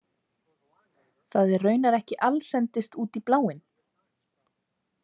Það er raunar ekki allsendis út í bláinn.